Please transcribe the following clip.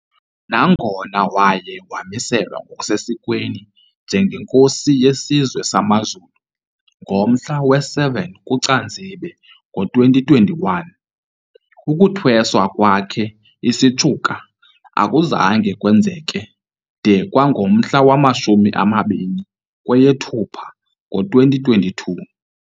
Nangona waye wamiselwa ngokusesikweni njengenkosi yesizwe samaZulu ngomhla we-7 kuCanzibe ngo2021, ukuthweswa kwakhe isitshuka akuzange kwenzeke de kwangomhla wamashumi amabini kweyeThupha ngo-2022.